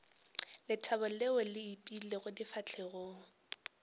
lethabo leo le ipeilego difahlegong